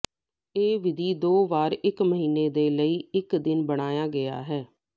ਇਹ ਵਿਧੀ ਦੋ ਵਾਰ ਇੱਕ ਮਹੀਨੇ ਦੇ ਲਈ ਇੱਕ ਦਿਨ ਬਣਾਇਆ ਗਿਆ ਹੈ